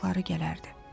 Yazıqları gələrdi.